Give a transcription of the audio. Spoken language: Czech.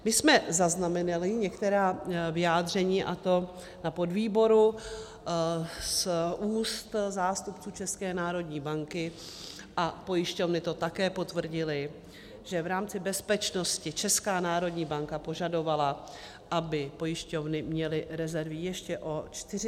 My jsme zaznamenali některá vyjádření, a to na podvýboru, z úst zástupců České národní banky, a pojišťovny to také potvrdily, že v rámci bezpečnosti Česká národní banka požadovala, aby pojišťovny měly rezervy ještě o 40 % vyšší.